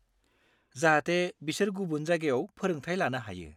जाहाथे बिसोर गुबुन जायगायाव फोरोंथाय लानो हायो।